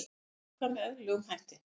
Mun ljúka með eðlilegum hætti